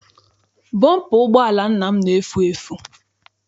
Bọmpa ụgbọala nna m na-efu efu.